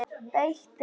Beitir